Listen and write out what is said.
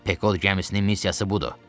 Pekod gəmisinin missiyası budur.